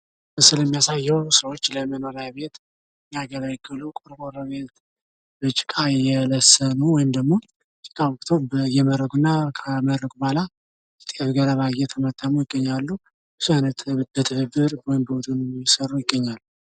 ይህ ምስል የሚያሳዬው ሰዎች ለመኖርያ ቤት የሚያገለግሉ ቆርቆሮ ቤቶች በጭቃ እየለሰኑ ወይም ደሞ ጭቃ አቡክተው እየመረጉ እና ከመረጉ በኋላ ገለባ እየተመተሙ ይገኛሉ። ብዙ ሁነው በትብብር እየሰሩ ይገኛሉ።